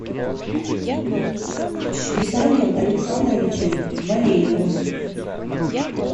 виталием александровичем валеевым